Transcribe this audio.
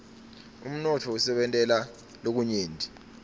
umnotfo usentela lokunyenti